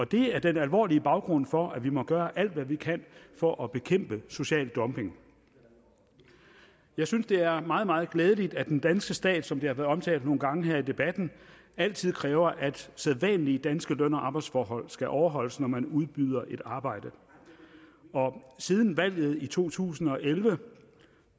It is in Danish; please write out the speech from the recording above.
det er den alvorlige baggrund for at vi må gøre alt hvad vi kan for at bekæmpe social dumping jeg synes det er meget meget glædeligt at den danske stat som det har været omtalt nogle gange her i debatten altid kræver at sædvanlige danske løn og arbejdsforhold skal overholdes når man udbyder et arbejde siden valget i to tusind og elleve